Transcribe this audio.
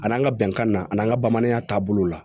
A n'an ka bɛnkan na an ka bamananya taabolo la